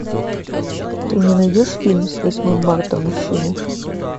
ты мне найдешь фильм с восьмым марта мужчины